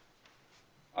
að